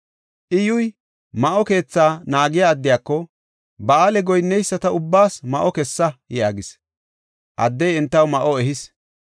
Iyyuy, ma7o keethaa naagiya addiyako, “Ba7aale goyinneyisata ubbaas ma7o kessa” yaagis. Addey entaw ma7o ehis.